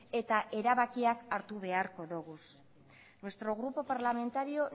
eta erabakiak hartu beharko ditugu nuestro grupo parlamentario